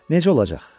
Necə olacaq?